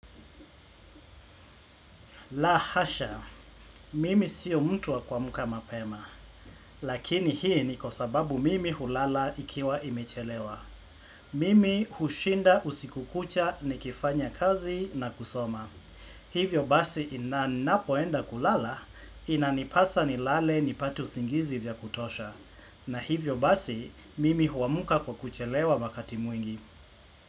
La hasha, mimi siyo mtu wa kuamuka mapema, lakini hii ni kwa sababu mimi hulala ikiwa imechelewa. Mimi hushinda usiku kucha nikifanya kazi na kusoma. Hivyo basi na ninapoenda kulala, inanipasa ni lale nipate usingizi vya kutosha. Na hivyo basi, mimi huamuka kwa kuchelewa wakati mwingine.